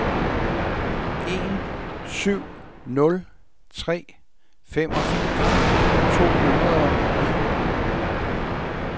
en syv nul tre femogfirs to hundrede og en